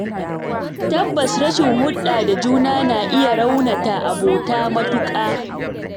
Tabbas Rashin hulɗa da juna na iya raunata abota matuƙa.